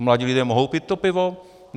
A mladí lidé mohou pít to pivo?